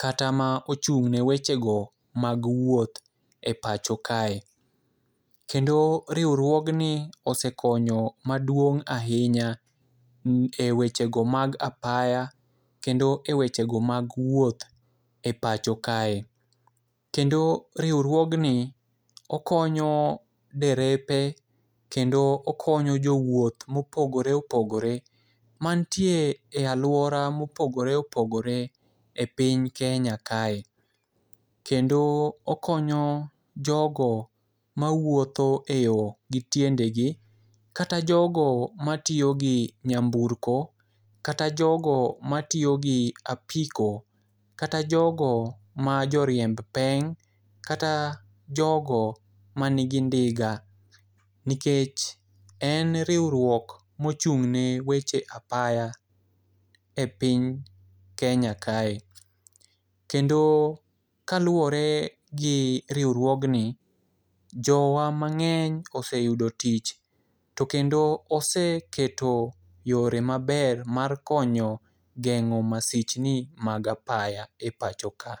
kata ma ochung'ne wechego mag wuoth e pacho kae. Kendo riwruogni osekonyo maduong' ahinya e wechego mag apaya, kendo e wechego mag wuoth e pacho kae, kendo riwruogni okonyo derepe kendo okonyo jowuoth mopogore opogore manitie e alwora mopogore opogore e piny Kenya kae. kendo okonyo jogo mawuotho e yo gitiendegi, kata jogo matiyo gi nyamburko kata jogo matiyo gi apiko, kata jogo majoriemb peng' kata jogo manigi ndiga, nikech en riwruok mochung'ne weche apaya e piny Kenya kae. Kendo kaluwore gi riwruognni, jowa mang'eny oseyudo tich, to kendo oseketo yore maber mar konyo geng'o masichni mag apaya e pacho ka.